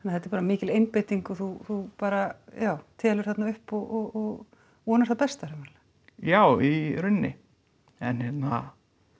þetta er mikil einbeiting og þú bara já telur þarna upp og vonar það besta já í rauninni en hérna